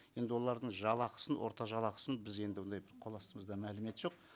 енді олардың жалақысын орта жалақысын біз енді ондай қол астымызда мәлімет жоқ